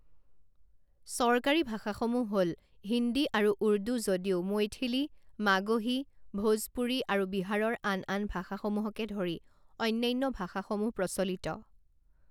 চৰকাৰী ভাষাসমূহ হ'ল হিন্দী আৰু উৰ্দু যদিও মৈথিলী, মাগহী, ভোজপুৰী আৰু বিহাৰৰ আন আন ভাষাসমূহকে ধৰি অন্যান্য ভাষাসমূহ প্ৰচলিত।